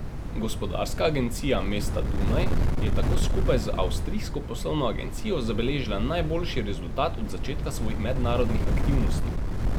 Gospodarska agencija mesta Dunaj je tako skupaj z Avstrijsko poslovno agencijo zabeležila najboljši rezultat od začetka svojih mednarodnih aktivnosti.